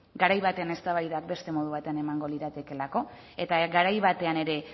garai baten eztabaida beste modu baten emango liratekeelako eta garai batean ere